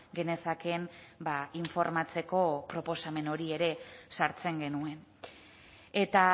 genezakeen informatzeko proposamen hori ere sartzen genuen eta